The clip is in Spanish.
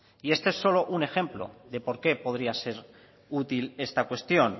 y este solo es un ejemplo de por qué podría ser útil esta cuestión